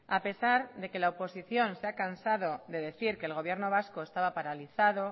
a pesar de que la oposición se ha cansado de decir que el gobierno vasco estaba paralizado